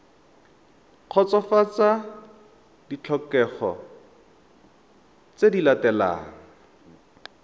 kgotsofatsa ditlhokego tse di latelang